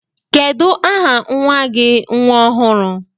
Kedu aha nwa gi nwa ọhụrụ?